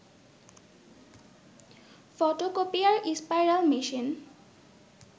photocopier, spiral machine